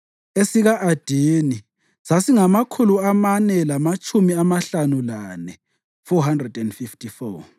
esika-Adini sasingamakhulu amane lamatshumi amahlanu lane (454),